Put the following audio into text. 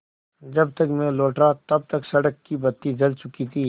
जब तक मैं लौटा तब तक सड़क की बत्ती जल चुकी थी